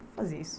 Vou fazer isso.